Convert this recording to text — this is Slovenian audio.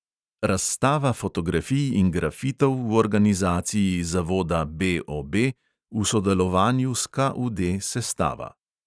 Razstava fotografij in grafitov v organizaciji zavoda BOB v sodelovanju s KUD sestava.